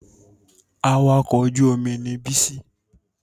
Awakọ̀ ojú-omi ni Bísí